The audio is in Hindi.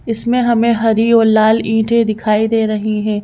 इसमें हमें हरी और लाल ईंटें दिखाई दे रही हैं।